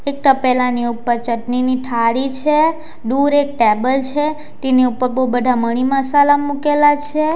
એક તપેલાની ઉપર ચટણીની થાળી છે દૂર એક ટેબલ છે. તેની ઉપર બહુ બધા મરી મસાલા મુકેલા છે.